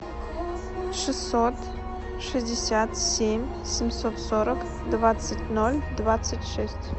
шестьсот шестьдесят семь семьсот сорок двадцать ноль двадцать шесть